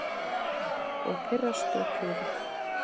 Og pirrast og puða.